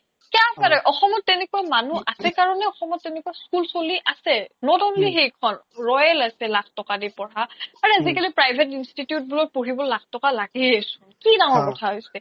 অসমত তেনেকুৱা মানুহ আছে কাৰণে অসমত তেনেকুৱা school চলি আছে not only সেইখন royal আছে লাখ টকা দি পঢ়া আৰু আজিকালি private institution বোৰত পঢ়িব লাখ টকা লাগেই চোন